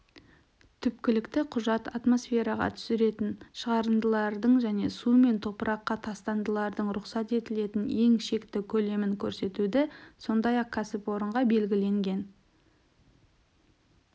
түпкілікті құжат атмосфереға түсетін шығарындылардың және су мен топыраққа тастандылардың рұқсат етілетін ең шекті көлемін көрсетуді сондай-ақ кәсіпорынға белгіленген